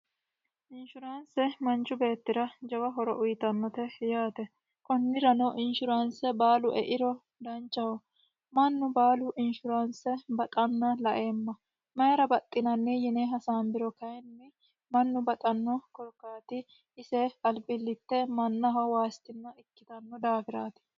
Inishshuraanise manichu beetira gawa horo uyitannote yaate konnirano inishshuraanise baalu eiro danichaho. Mannu baalu inishuraanse baxana laeema mayira baxxinanni yine hasaanibiro kayinni mannu baxano korikaati ise alibillite mannaho waasitna ikkito daafiraati.